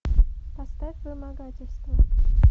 поставь вымогательство